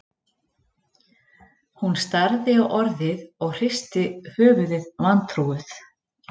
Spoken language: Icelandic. Hún starði á orðið og hristi höfuðið vantrúuð